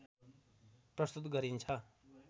प्रस्तुत गरिन्छ